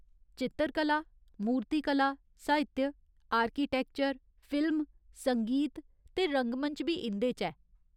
चित्तरकला, मूर्तिकला, साहित्य, आर्किटैक्चर, फिल्म, संगीत ते रंगमंच बी इं'दे च ऐ।